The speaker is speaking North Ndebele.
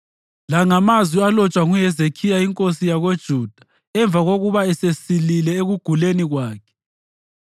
La ngamazwi alotshwa nguHezekhiya inkosi yakoJuda emva kokuba esesilile ekuguleni kwakhe: